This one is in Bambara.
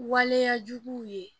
Waleyajuguw ye